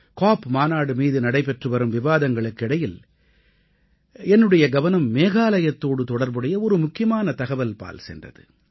காப் மாநாடு மீது நடைபெற்று வரும் விவாதங்களுக்கு இடையில் என்னுடைய கவனம் மேகாலயத்தோடு தொடர்புடைய ஒரு முக்கியமான தகவல்பால் சென்றது